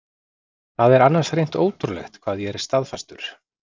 Það er annars hreint ótrúlegt hvað ég er staðfastur.